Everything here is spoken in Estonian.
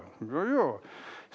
Väga hea!